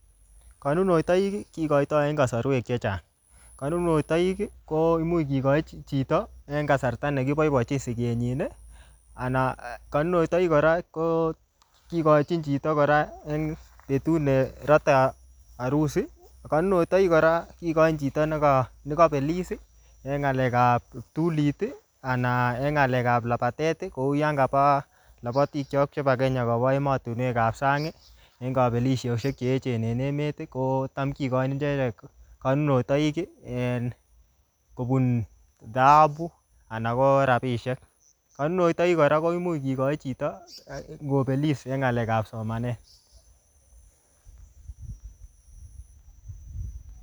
Karunoitiok kekoitoi en kasarwek chechang. Karunoitoik ko imuch kikochi chito ne en kasarta ne kiboibochin siget nyin, anan kanunoitoik kora ko kikochin chito kor en betut nerate arusi. Kanunoitoik kora, kikochin chito neka-nekabelis en ng'alek ap kiptulit, anan en ng'alek ap labatet. Kouyon kapa labatik chok chebo Kenya koba emotunwek ap sang, en kabelisosiek che echen en emet, ko kocham kikochin icheket kanunoitoik en kobun dhahabu anan ko rabisiek. Kanunoitoik kora koimuch kikochi chito ngobelis eng ng'alekab somanet